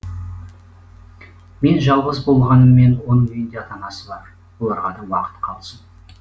мен жалғыз болғаныммен оның үйінде ата анасы бар оларға да уақыт қалсын